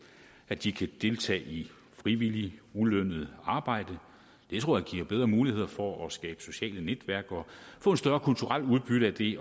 at de kan deltage i frivilligt ulønnet arbejde det tror jeg giver bedre muligheder for at skabe sociale netværk og få et større kulturelt udbytte af det